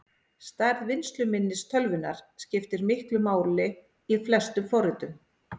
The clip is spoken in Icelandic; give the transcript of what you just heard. Stærð vinnsluminnis tölvunnar skiptir miklu máli í flestum forritum.